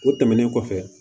O tɛmɛnen kɔfɛ